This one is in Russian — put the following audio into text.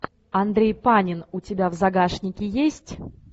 андрей панин у тебя в загашнике есть